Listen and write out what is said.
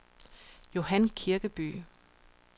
Johan Kirkeby